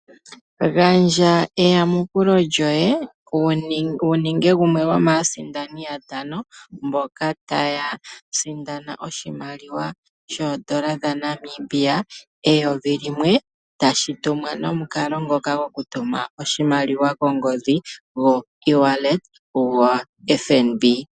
Gandja eyamukulo lyoye wuninge gumwe gomaasindani mboka taya sindana oshimaliwa sho N$1000, tashi tumwa nokumukalo ngoka gokutuma oshimaliwa kongodhi goEwallet gwoFNB.